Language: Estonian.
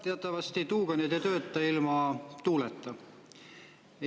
Teatavasti tuuganid ei tööta ilma tuuleta.